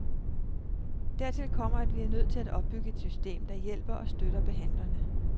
Dertil kommer, at vi er nødt til at opbygge et system, der hjælper og støtter behandlerne.